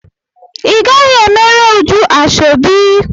Ị gaghị emere Uju ashọbi!